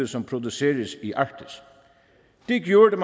som produceres i arktis det gjorde